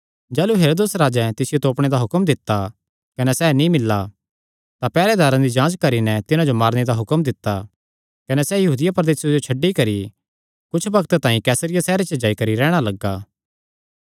जाह़लू हेरोदेस राजैं तिसियो तोपणे दा हुक्म दित्ता कने सैह़ नीं मिल्ला तां पैहरेदारां दी जांच करी नैं तिन्हां जो मारने दा हुक्म दित्ता कने सैह़ यहूदिया प्रदेसे जो छड्डी करी कुच्छ बग्त तांई कैसरिया सैहरे च जाई करी रैहणा लग्गा